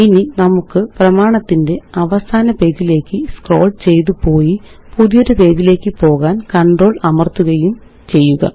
ഇനി നമുക്ക് പ്രമാണത്തിന്റെ അവസാന പേജിലേയ്ക്ക് സ്ക്രോള് ചെയ്ത് പോയി പുതിയൊരു പേജിലേയ്ക്ക് പോകാന് കണ്ട്രോൾ Enter അമര്ത്തുകയും ചെയ്യുക